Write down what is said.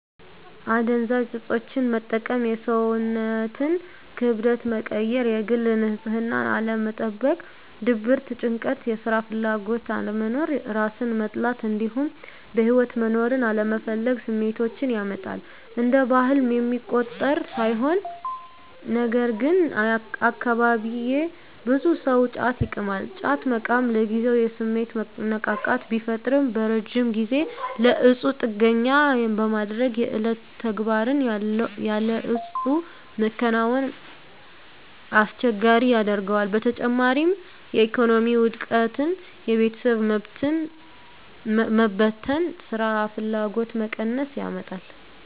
አደንዛዥ እፆችን መጠቀም የሰውነትን ክብደት መቀየር፣ የግል ንፅህናን አለመጠበቅ፣ ድብርት፣ ጭንቀት፣ የስራ ፍላጎት አለመኖር፣ እራስን መጥላት እንዲሁም በህይወት መኖርን አለመፈለግ ስሜቶችን ያመጣል። እንደ ባህል የሚቆጠር ሳይሆን ነገርግን አካባቢየ ብዙ ሰው ጫት ይቅማል። ጫት መቃም ለጊዜው የስሜት መነቃቃት ቢፈጥርም በረጅም ጊዜ ለእፁ ጥገኛ በማድረግ የዕለት ተግባርን ያለ እፁ መከወንን አስቸጋሪ ያደርገዋል። በተጨማሪም የኢኮኖሚ ውድቀትን፣ የቤተሰብ መበተን፣ ስራፍላጎት መቀነስን ያመጣል።